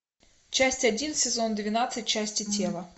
часть один сезон двенадцать части тела